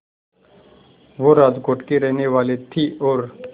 वो राजकोट की ही रहने वाली थीं और